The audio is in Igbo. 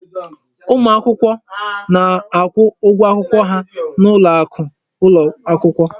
Ụmụ akwụkwọ na-akwụ ụgwọ akwụkwọ ha n'ụlọ akụ ụlọ akwụkwọ.